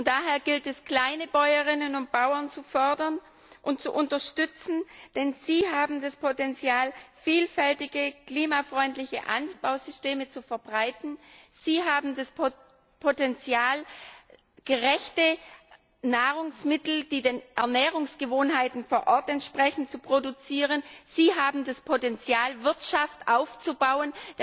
Daher gilt es, Kleinbäuerinnen und bauern zu fördern und zu unterstützen, denn sie haben das Potenzial, vielfältige klimafreundliche Anbausysteme zu verbreiten, sie haben das Potenzial, gerechte Nahrungsmittel, die den Ernährungsgewohnheiten vor Ort entsprechen, zu produzieren, sie haben das Potenzial, Wirtschaft aufzubauen.